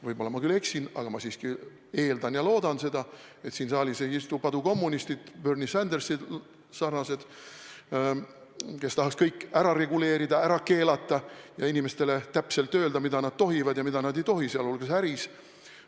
Võib-olla ma eksin, aga ma siiski eeldan ja loodan seda, et siin saalis ei istu padukommunistid, Bernie Sandersi sarnased, kes tahaks kõik ära reguleerida, ära keelata ja inimestele täpselt öelda, mida nad tohivad ja mida nad ei tohi, sealhulgas äris.